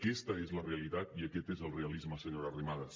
aquesta és la realitat i aquest és el realisme senyora arrimadas